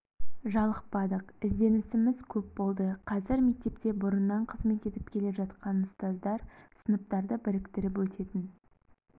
жалықпадық ізденісіміз көп болды қазір мектепте бұрыннан қызмет етіп келе жатқан ұстаздар сыныптарды біріктіріп өтетін